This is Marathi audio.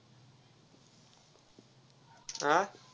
आ.